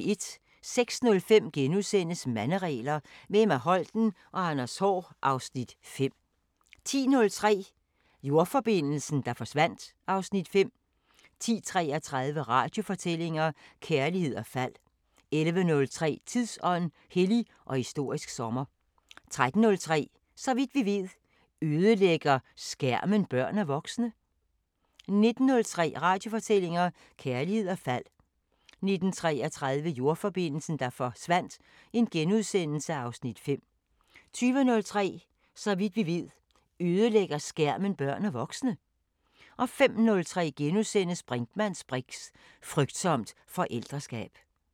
06:05: Manderegler – med Emma Holten og Anders Haahr (Afs. 5)* 10:03: Jordforbindelsen, der forsvandt (Afs. 5) 10:33: Radiofortællinger: Kærlighed og fald 11:03: Tidsånd: Hellig og historisk sommer 13:03: Så vidt vi ved: Ødelægger skærmen børn og voksne? 19:03: Radiofortællinger: Kærlighed og fald 19:33: Jordforbindelsen, der forsvandt (Afs. 5)* 20:03: Så vidt vi ved: Ødelægger skærmen børn og voksne? 05:03: Brinkmanns briks: Frygtsomt forældreskab *